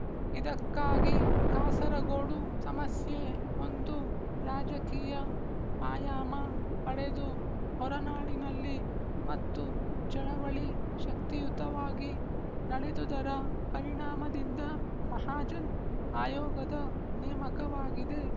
ಇದಕ್ಕಾಗಿ ಕಾಸರಗೋಡು ಸಮಸ್ಯೆ ಒಂದು ರಾಜಕೀಯ ಆಯಾಮ ಪಡೆದು ಹೊರನಾಡಿನಲ್ಲಿ ಮತ್ತು ಚಳವಳಿ ಶಕ್ತಿಯುತವಾಗಿ ನಡೆದುದರ ಪರಿಣಾಮದಿಂದ ಮಹಾಜನ್ ಆಯೋಗದ ನೇಮಕವಾಗಿದೆ